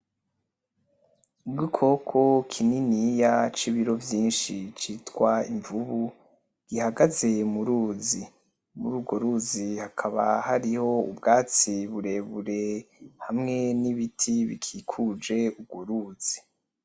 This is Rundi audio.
Igikoko kininiya cibiro vyinshi citwa imvubu, gihagaze muruzi. Mururwo ruzi hakaba hariyo ubwatsi burebure hamwe nibiti bikikuje urworuzi.